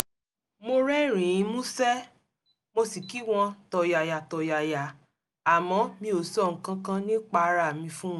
mo rẹ́rìn-ín músẹ́ mo sì kí wọn tọ̀yàyàtọ̀yàyà àmọ́ mi ò sọ nǹkan kan nípa ara mi fún wọn